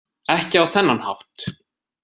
Ekki á þennan hátt.